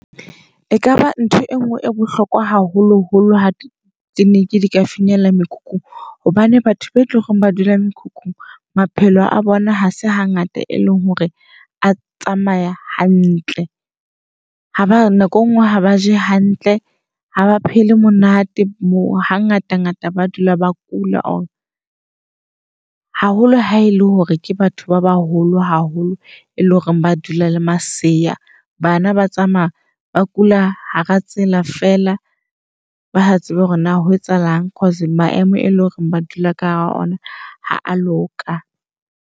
E kaba ntho e nngwe e bohlokwa haholo holo ha ne di ka finyella mekhukhung. Hobane batho ba etloreng ba dula mekhukhung maphelo a bona ha se hangata e leng hore a tsamaya hantle. Ha ba nako engwe ha ba je hantle. Ha ba phele monate moo ha ngata ngata ba dula ba kula. Haholo ha e le hore ke batho ba baholo haholo, e leng hore hore ba dula le masela. Bana ba tsamaya ba kula hara tsela feela ba sa tsebe hore na ho etsahalang cause maemo e leng hore ba dula ka hara ona ha a loka.